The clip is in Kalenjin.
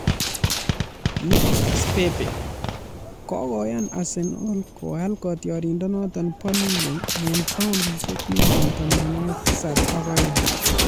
Nicholas Pepe:Kokoyan Arsenal koal kotioriendenoto bo Lille eng paundisiek million tamanwokik tisab ak oeng